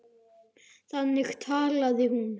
Þannig talaði hún.